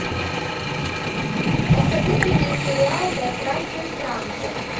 посоветуй мне сериал да здравствует франция